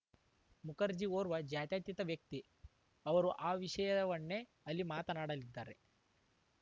ಮುಖರ್ಜಿ ಓರ್ವ ಜಾತ್ಯಾತೀತ ವ್ಯಕ್ತಿ ಅವರು ಆ ವಿಷಯವನ್ನೇ ಅಲ್ಲಿ ಮಾತನಾಡಲಿದ್ದಾರೆ